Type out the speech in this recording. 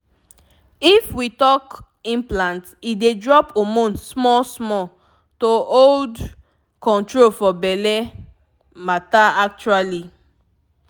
if we talk implant e dey drop hormone small-small — to hold ( small pause) control for belle matter actually.